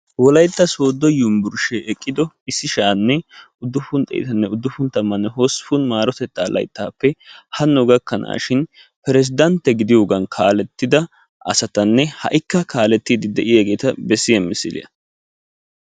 Wolaytta sooddo yunbburshshee eqqiddo issi sha'anne uduppun xeettanne uduppun tammanne hosppun maarotettaa layttappe hano gakkanashin persdantte gidiyogan kaaletida asatanne ha'ikka kaaletidi de'iyageeta besiya misiliya.